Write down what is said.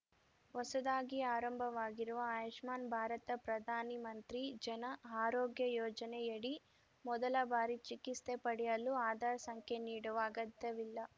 ಹೊಸದಾಗಿ ಆರಂಭವಾಗಿರುವ ಆಯುಷ್ಮಾನ್‌ ಭಾರತಪ್ರಧಾನಿ ಮಂತ್ರಿ ಜನ ಆರೋಗ್ಯ ಯೋಜನೆಯಡಿ ಮೊದಲ ಬಾರಿ ಚಿಕಿಸ್ತೆ ಪಡೆಯಲು ಆಧಾರ್‌ ಸಂಖ್ಯೆ ನೀಡುವ ಅಗತ್ಯವಿಲ್ಲ